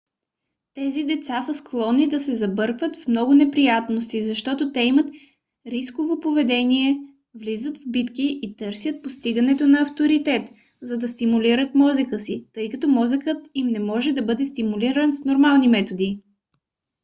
тези деца са склонни да се забъркват в много неприятности защото те имат рисково поведение влизат в битки и търсят постигането на авторитет за да стимулират мозъка си тъй като мозъкът им не може да бъде стимулиран с нормални методи